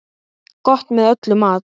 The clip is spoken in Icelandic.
Gott með öllum mat.